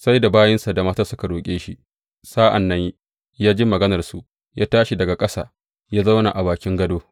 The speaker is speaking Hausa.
Sai da bayinsa da matar suka roƙe shi, sa’an nan ya ji maganarsu, ya tashi daga ƙasa, ya zauna a bakin gado.